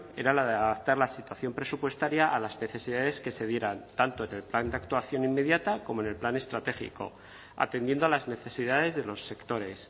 era la de adaptar la situación presupuestaria a las necesidades que se dieran tanto en el plan de actuación inmediata como en el plan estratégico atendiendo a las necesidades de los sectores